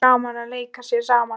Voða gaman að leika sér saman